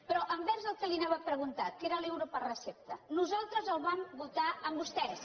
però envers el que li anava a preguntar que era l’euro per recepta nosaltres el vam votar amb vostès